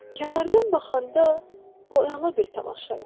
Kənardan baxanda bu əla bir tamaşa idi.